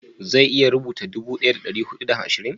zai iya rubuta dubu daya da dari hudu da ashirin?